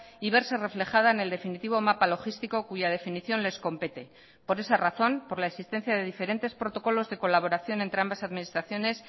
y verse reflejada en el definitivo mapa logístico cuya definición les compete por esa razón por la existencia de diferentes protocolos de colaboración entre ambas administraciones